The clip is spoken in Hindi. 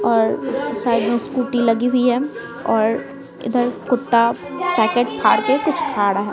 और साइड में स्कूटी लगी हुई है और इधर कुत्ता पैकेट फाड़ के कुछ खा रहा है।